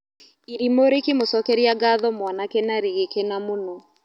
Irimũ rĩkĩmũcokeria ngatho mwanake na rĩgĩkena mũno.